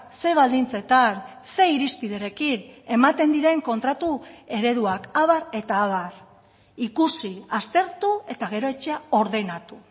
ze baldintzetan ze irizpiderekin ematen diren kontratu ereduak abar eta abar ikusi aztertu eta gero etxea ordenatu